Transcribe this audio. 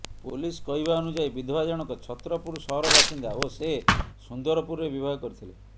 police କହିବା ଅନୁଯାୟୀ ବିଧବା ଜଣକ ଛତ୍ରପୁର ସହର ବାସିନ୍ଦା ଓ ସେ ସୁନ୍ଦରପୁରରେ ବିବାହ କରିଥିଲେ